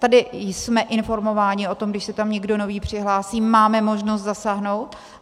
Tady jsme informováni o tom, když se tam někdo nový přihlásí, máme možnost zasáhnout.